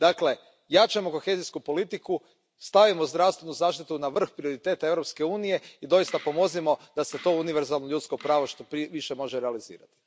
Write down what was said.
Dakle, jačajmo kohezijsku politiku, stavimo zdravstvenu zaštitu na vrh prioriteta Europske unije i doista pomozimo da se to univerzalno ljudsko pravo što više može realizirati.